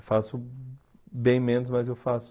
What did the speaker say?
Eu faço bem menos, mas eu faço...